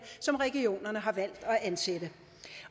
som regionerne har valgt at ansætte